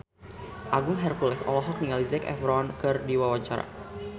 Agung Hercules olohok ningali Zac Efron keur diwawancara